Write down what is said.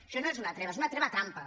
això no és una treva és una treva trampa